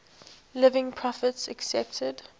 living prophets accepted